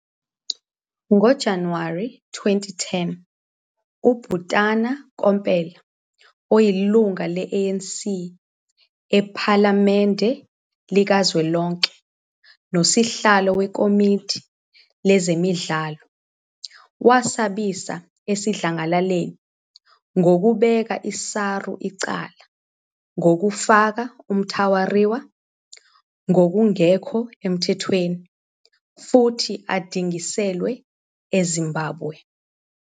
NgoJanuwari 2010, uButana Komphela, oyilungu le- ANC ePhalamende likazwelonke nosihlalo wekomidi lezemidlalo, wasabisa esidlangalaleni ngokubeka i-SARU icala ngokufaka uMtawarira "ngokungekho emthethweni" futhi adingiselwe eZimbabwe.